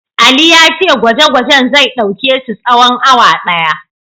Ali ya ce gwaje-gwajen zai ɗauke su tsawon awa ɗaya.